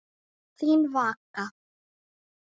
Þín Vaka.